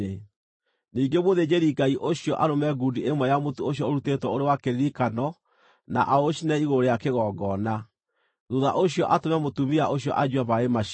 Ningĩ mũthĩnjĩri-Ngai ũcio arũme ngundi ĩmwe ya mũtu ũcio ũrutĩtwo ũrĩ wa kĩririkano na aũcinĩre igũrũ rĩa kĩgongona; thuutha ũcio atũme mũtumia ũcio anyue maaĩ macio.